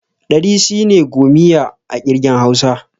Ɗari shine 'gomiya' a ƙirgen hausa.